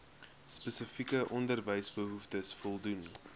spesifieke onderwysbehoeftes voldoen